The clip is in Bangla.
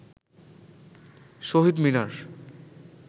শহীদ মিনার